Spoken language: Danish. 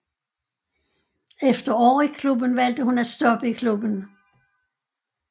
Efter år i klubben valgte hun at stoppe i klubben